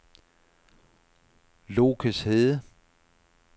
Lokeshede